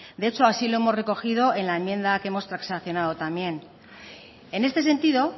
de hecho así lo hemos recogido en la enmienda que hemos transacionado también en este sentido